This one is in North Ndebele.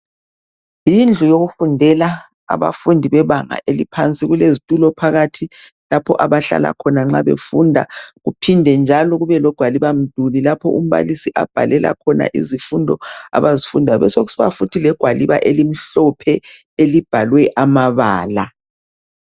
Yindlu yokufundela abafundi bebanga eliphansi kulezitulo phakathi lapho abahlala khona nxa befunda kuphinde njalo kube legwaliba mduli lapho umbalisi abhalela khona izifundo abazifundayo kube sokusiba futhi legwaliba elimhlophe elibhalwe amabala.